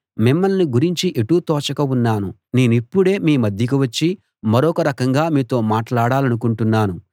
మిమ్మల్ని గురించి ఎటూ తోచక ఉన్నాను నేనిప్పుడే మీ మధ్యకు వచ్చి మరొక రకంగా మీతో మాట్లాడాలనుకుంటున్నాను